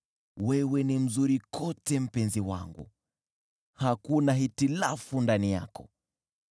Wewe ni mzuri kote, mpenzi wangu, hakuna hitilafu ndani yako.